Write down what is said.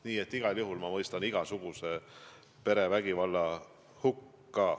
Nii et igal juhul ma mõistan igasuguse perevägivalla hukka.